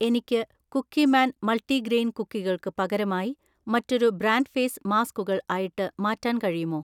എനിക്ക് Cookieman multigrain കുക്കികൾക്ക് പകരമായി മറ്റൊരു ബ്രാൻഡ് ഫേസ് മാസ്കുകൾ ആയിട്ട് മാറ്റാൻ കഴിയുമോ?